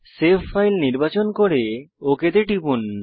save file নির্বাচন করে OK তে টিপুন